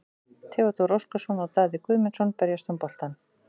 Theodór Óskarsson og Daði Guðmundsson berjast um boltann.